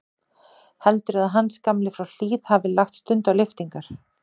Heldurðu að Hans gamli frá Hlíð hafi lagt stund á lyftingar?